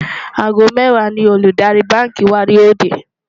àgó méwàá ní Olùdarí bánkì wà yó dè